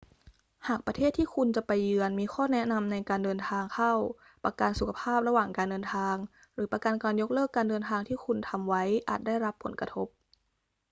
หากประเทศที่คุณจะไปเยือนมีข้อแนะนำในการเดินทางเข้า ประกันสุขภาพระหว่างการเดินทางหรือประกันการยกเลิกการเดินทางที่คุณทำไว้อาจได้รับผลกระทบ